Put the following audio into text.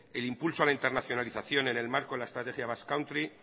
el impulso a la internacionalización en el marco de la estrategia basque country